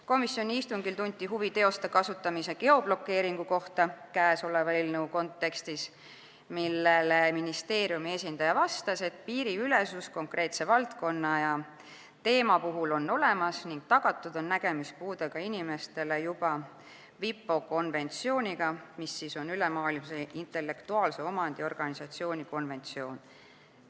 Komisjoni istungil tunti huvi teoste kasutamise geoblokeeringu kohta käesoleva eelnõu kontekstis, millele ministeeriumi esindaja vastas, et piiriülesus konkreetse valdkonna ja teema puhul on olemas ning on nägemispuudega inimestele tagatud juba WIPO konventsiooniga, mis on Maailma Intellektuaalse Omandi Organisatsiooni konventsioon.